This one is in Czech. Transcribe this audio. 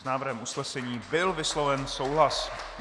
S návrhem usnesení byl vysloven souhlas.